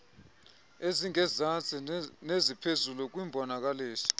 ezingezantsi neziphezulu kwimbonakaliso